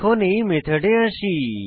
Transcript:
এখন এই মেথডে আসি